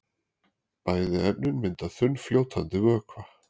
Bæði efnin mynda þunnfljótandi vökva.